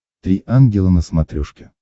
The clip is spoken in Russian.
три ангела на смотрешке